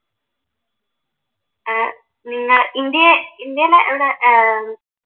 ഏർ നിങ്ങ ഇന്ത്യ ഇന്ത്യയിൽ എവിടാ? ഏർ